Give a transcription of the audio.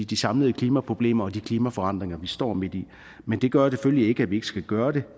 de samlede klimaproblemer og de klimaforandringer vi står midt i men det gør selvfølgelig ikke at vi ikke skal gøre det